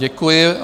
Děkuji.